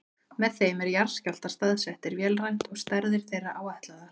Með þeim eru jarðskjálftar staðsettir vélrænt og stærðir þeirra áætlaðar.